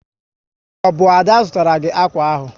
Ọ bụ Ada zụtara gị akwa ahụ?